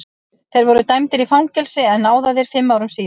Þeir voru dæmdir í fangelsi en náðaðir fimm árum síðar.